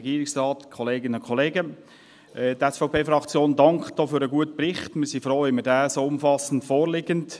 Wir sind froh, dass er so umfassend vorliegt;